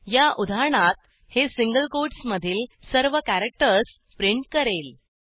या उदाहरणात हे सिंगल कोटसमधील सर्व कॅरॅक्टर्स प्रिंट करेल